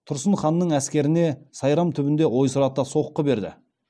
тұрсын ханның әскеріне сайрам түбінде ойсырата соққы берді